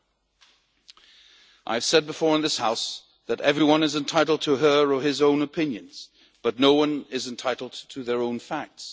I have said before in this House that everyone is entitled to her or his own opinions, but no one is entitled to their own facts.